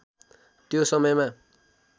त्यो समयमा